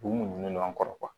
U b'u ɲinini no an kɔrɔ